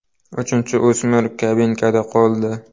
Uchinchi o‘smir kabinkada qoldi.